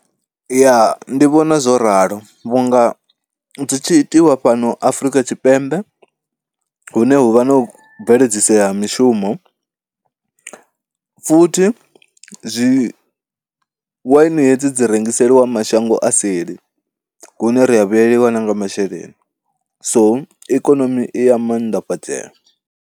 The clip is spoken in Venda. Ya ndi vhona zwo ralo vhunga zwi tshi itiwa fhano Afrika Tshipembe hune hu vha na u bveledzisea ha mishumo futhi zwi, waini hedzi dzi rengiseliwa mashango a seli hune ri a vhuyeliwa na nga masheleni so ikonomi i ya maanḓafhadzea.